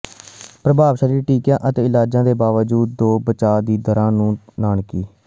ਪ੍ਰਭਾਵਸ਼ਾਲੀ ਟੀਕਿਆਂ ਅਤੇ ਇਲਾਜਾਂ ਦੇ ਬਾਵਜੂਦ ਜੋ ਬਚਾਅ ਦੀਆਂ ਦਰਾਂ ਨੂੰ ਨਾਟਕੀ